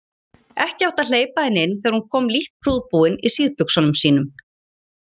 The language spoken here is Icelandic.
Ekki átti að hleypa henni inn þegar hún kom lítt prúðbúin í síðbuxunum sínum.